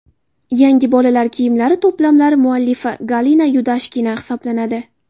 Yangi bolalar kiyimlari to‘plamlari muallifi Galina Yudashkina hisoblanadi.